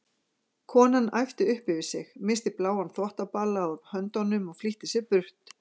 Konan æpti upp yfir sig, missti bláan þvottabala úr höndunum og flýtti sér burt.